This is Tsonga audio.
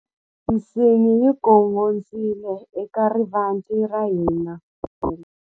Nsingi yi gongondzile eka rivanti ra hina ku vutisa hi mafambelo.